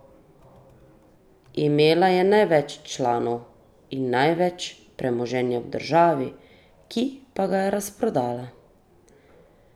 Imela je največ članov in največ premoženja v državi, ki pa ga je razprodala!